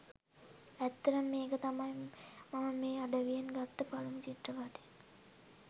ඇත්තටම මේක තමයි මම මේ අඩවියෙන් ගත්ත පලමු චිත්‍රපටිය.